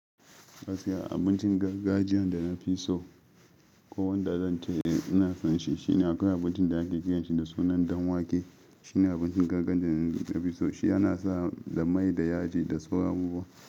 Gaskiya abincin gargajiya da nafi so ko wanda zan ce ina fanshi shine akwai abincin da ake kiranshi da sunan danwake. Shine abincin gargajiya da nafi so. Shi yana saka da mai, da yaji da sauran abubuwa.